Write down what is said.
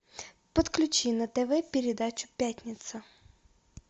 подключи на тв передачу пятница